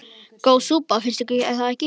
Góð súpa, finnst ykkur það ekki?